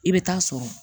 I bɛ taa sɔrɔ